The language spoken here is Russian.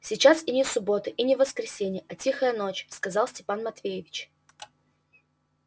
сейчас и не суббота и не воскресенье а тихая ночь сказал степан матвеевич